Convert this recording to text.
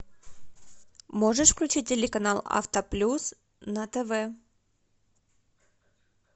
можешь включить телеканал авто плюс на тв